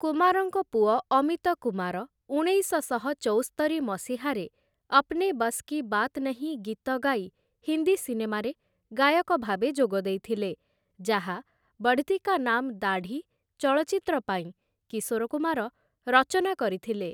କୁମାରଙ୍କ ପୁଅ ଅମିତ କୁମାର ଉଣେଇଶଶହ ଚଉସ୍ତରି ମସିହାରେ 'ଅପ୍ନେ ବସ୍‌ କି ବାତ୍ ନହିଁ' ଗୀତ ଗାଇ ହିନ୍ଦୀ ସିନେମାରେ ଗାୟକ ଭାବେ ଯୋଗଦେଇଥିଲେ, ଯାହା 'ବଢ୍‌ତୀ କା ନାମ୍‌ ଦାଢ଼ି' ଚଳଚ୍ଚିତ୍ର ପାଇଁ କିଶୋର କୁମାର ରଚନା କରିଥିଲେ ।